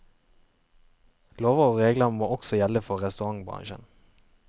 Lover og regler må også gjelde for restaurantbransjen.